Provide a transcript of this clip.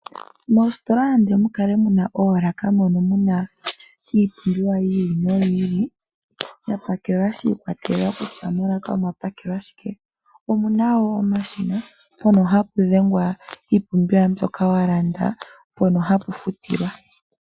Moositola nande mu kale mu na oolaka moka mu na iipumbiwa yi ili noyi ili, ya pakelwa shi ikwatelela kutya molaka omwa pakelwa shike, omu na wo omashina mpono hapu dhengwa iipumbiwa mbyoka wa landa mpoka hapu futilwa.